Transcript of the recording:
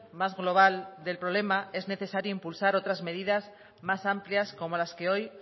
más global del problema es necesario impulsar otras medidas más amplias como las que hoy